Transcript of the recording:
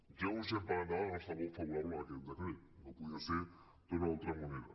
ja anunciem per endavant el nostre vot favorable a aquest decret no podia ser d’una altra manera